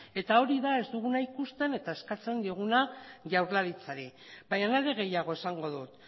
eta hori da ez duguna ikusten eta eskatzen dioguna jaurlaritzari baina are gehiago esango dut